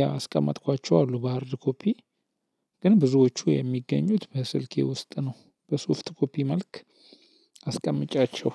ያስቀመጥኳቸው አሉ በ ሃርድ ኮፒ። ግን ብዙዎቹ የሚገኙት በስልኬ ውስጥ ነው። በሶፍት ኮፒ መልክ አስቀምጫቸው።